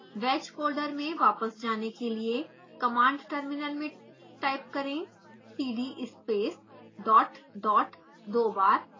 wedge folder में वापस जाने के लिए कमांड टर्मिनल में टाइप करें cd space dot dot दो बार